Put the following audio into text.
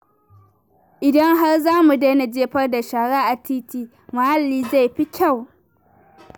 Idan har za mu daina jefar da shara a titi, muhalli zai fi kyau.